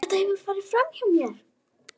Þetta hefur farið framhjá mér!